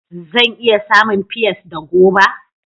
Zan iya samun pears da goba